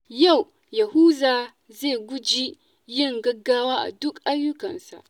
Yau, Yahuza zai guji yin gaggawa a dukkan ayyukansa.